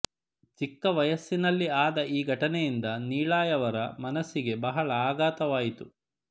ಚಿಕ್ಕ ವಯಸ್ಸಿನಲ್ಲಿ ಆದ ಈ ಘಟನೆಯಿಂದ ನೀಳಾಯವರ ಮನಸ್ಸಿಗೆ ಬಹಳ ಆಘಾತವಾಯಿತು